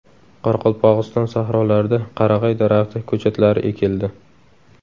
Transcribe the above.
Qoraqalpog‘iston sahrolarida qarag‘ay daraxti ko‘chatlari ekildi.